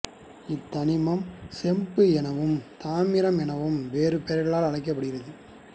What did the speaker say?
இத்தனிமம் செம்பு எனவும் தாமிரம் எனவும் வேறு பெயர்களால் அழைக்கப்படுகிறது